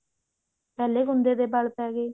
ਪਹਿਲੇ ਕੁੰਦੇ ਦੇ ਵਲ ਪੈਗੇ